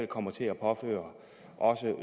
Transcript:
kommer til at påføre os